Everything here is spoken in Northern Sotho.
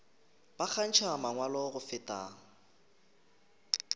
ba kgantšha mangwalo go feta